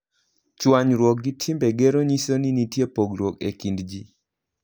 Chwanyruok gi timbe gero nyiso ni nitie pogruok e kind ji.